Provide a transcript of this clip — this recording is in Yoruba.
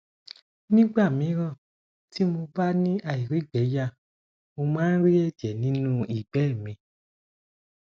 nígbà míràn tí mo bá ni airigbeya mo máa ń ri ẹjẹ nínú ìgbẹ́ mi